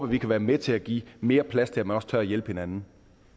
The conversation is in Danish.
vi kan være med til at give mere plads til at man også tør hjælpe hinanden